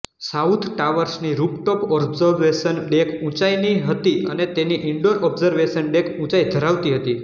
south ટાવર્સની rooftop observation deck ઊંચાઇની હતી અને તેની ઇન્ડોર ઓબ્ઝર્વેશન ડેક ઊંચાઈ ધરાવતી હતી